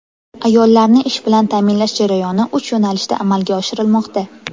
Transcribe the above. Ayollarni ish bilan ta’minlash jarayoni uch yo‘nalishda amalga oshirilmoqda.